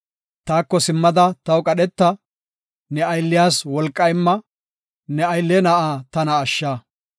Taako simmada taw qadheta; ne aylliyas wolqa imma; ne gadhinde na7aa tana ashsha.